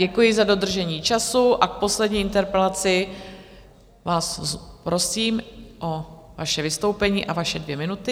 Děkuji za dodržení času a v poslední interpelaci vás prosím o vaše vystoupení a vaše dvě minuty.